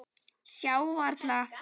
Sjá varla.